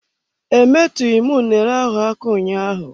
Emetughi m unere ahụ aka ụnyaahụ.